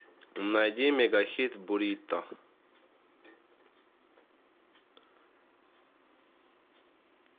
найди мегахит бурито